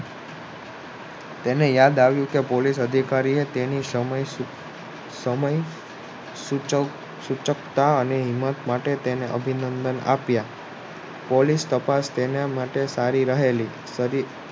તેને યાદ આવ્યું કે પોલીસ અધિકારી એ તેની સમય સમય સુચકતા અને તેને અભિનંદન આપ્યા પોલીસે તેને માટે તાળી સારી